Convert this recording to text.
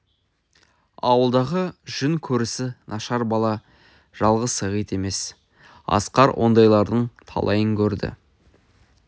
ауылдағы жүн көрісі нашар бала жалғыз сағит емес асқар ондайлардың талайын көрді